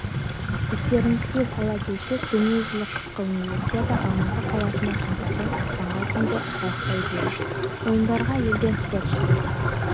естеріңізге сала кетсек дүниежүзілік қысқы универсиада алматы қаласында қаңтардан ақпанға дейінгі аралықта өтеді ойындарға елден спортшылар